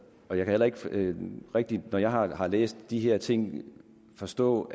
heller ikke rigtigt når jeg har har læst de her ting forstå